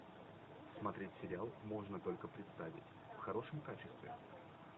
смотреть сериал можно только представить в хорошем качестве